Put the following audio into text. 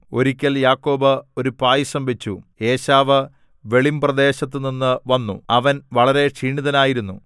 ഒരിക്കൽ യാക്കോബ് ഒരു പായസം വച്ചു ഏശാവ് വെളിമ്പ്രദേശത്തുനിന്നു വന്നു അവൻ വളരെ ക്ഷീണിതനായിരുന്നു